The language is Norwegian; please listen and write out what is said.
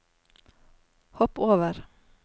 hopp over